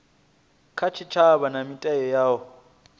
kha tshitshavha na mita yavho